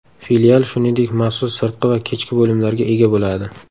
Filial, shuningdek, maxsus sirtqi va kechki bo‘limlarga ega bo‘ladi.